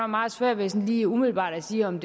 meget svært ved sådan lige umiddelbart at sige om